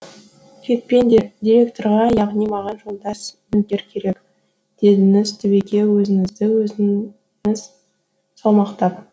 кетпеңдер директорға яғни маған жолдас нөкер керек дедіңіз түбеке өзіңізді өзіңіз салмақтап